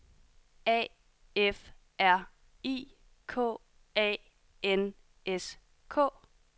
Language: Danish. A F R I K A N S K